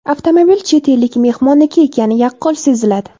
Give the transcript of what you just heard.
Avtomobil chet ellik mehmonniki ekani yaqqol seziladi.